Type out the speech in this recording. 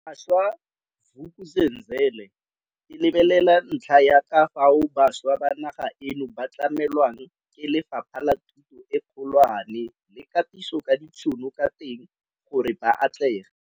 Bašwa, Vuk'uzenzele e lebelela ntlha ya ka fao bašwa ba naga eno ba tlamelwang ke Lefapha la Thuto e Kgolwane le Katiso ka ditšhono ka teng gore ba atlege.